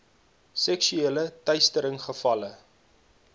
seksuele teistering gevalle